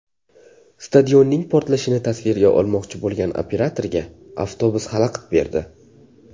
Stadionning portlashini tasvirga olmoqchi bo‘lgan operatorga avtobus xalaqit berdi .